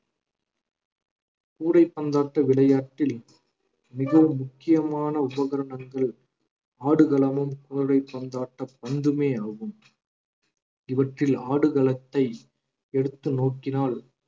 கூடை பந்தாட்டு விளையாட்டில் மிகவும் முக்கியமான உபகரணங்கள் ஆடுகளமும் பந்தாட்ட பந்துமே ஆகும் இவற்றில் ஆடுகளத்தை எடுத்து நோக்கினால்